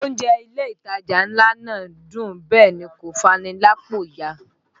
Oúnjẹ ilé ìtajà ńlá náà dùn bẹ́ẹ̀ ni kò fani lápò ya